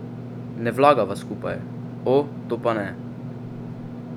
Ne vlagava skupaj, o, to pa ne!